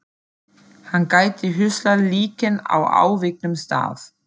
Hann gæti huslað líkin á afviknum stað.